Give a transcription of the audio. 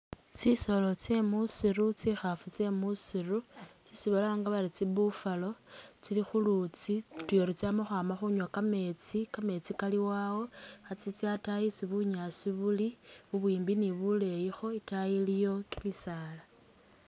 tsisolo tse musiru tsikhafu tse musiru tsesi balanga bari tsi buffalo tsili khulutsi utyori tsama khwama khunywa kameetsi kameetsi kaliwo awo nga tsitsa atayi isi bunyasi buli bubwimbi ni buleyikho itayi iliyo kimisaala.